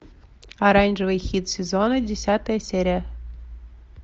оранжевый хит сезона десятая серия